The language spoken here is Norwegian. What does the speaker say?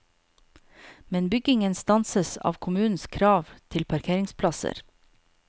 Men byggingen stanses av kommunens krav til parkeringsplasser.